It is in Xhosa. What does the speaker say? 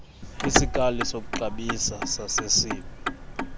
kwisikali sokuxabisa sasesib